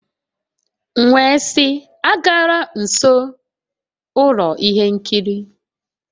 M wee sị, agala nso ụlọ ihe nkiri!.